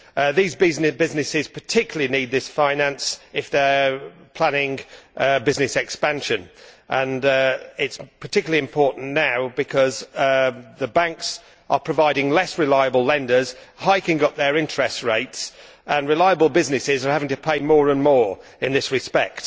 These businesses particularly need this finance if they are planning business expansion, and it is particularly important now because the banks are providing for less reliable lenders and are hiking up their interest rates, so reliable businesses are having to pay more and more in this respect.